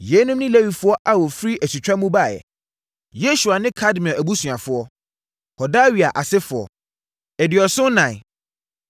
Yeinom ne Lewifoɔ a wɔfiri asutwa mu baeɛ: 1 Yesua ne Kadmiel abusuafoɔ (Hodawia asefoɔ) 2 74